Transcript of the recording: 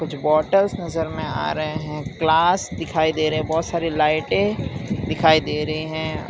कुछ बोतल नजर में आ रहे हैं। ग्लास दिखाई दे रहे हैं। बहोत सारी लाइटें दिखाई दे रहे हैं।